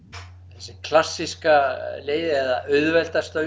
þessi klassíska leið eða auðveldasta